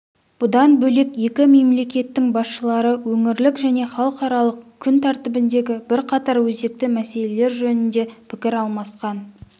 бұдан бөлек екі мемлекеттің басшылары өңірлік және халықаралық күн тәртібіндегі бірқатар өзекті мәселелер жөнінде пікір алмасқан